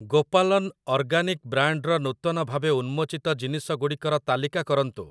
ଗୋପାଲନ organic ବ୍ରାଣ୍ଡ୍‌‌‌ର ନୂତନ ଭାବେ ଉନ୍ମୋଚିତ ଜିନିଷ ଗୁଡ଼ିକର ତାଲିକା କରନ୍ତୁ ।